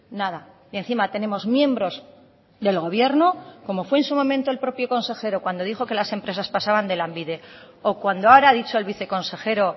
nada y encima tenemos miembros del gobierno como fue en su momento el propio consejero cuando dijo que las empresas pasaban de lanbide o cuando ahora ha dicho el viceconsejero